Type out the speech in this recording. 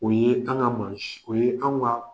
O ye an ka mɔgɔ si, o ye anw ka